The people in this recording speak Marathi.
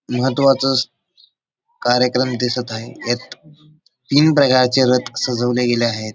महत्त्वाचं कार्यक्रम दिसत आहे. यात तीन प्रकारचे रथ सजवले गेले आहेत.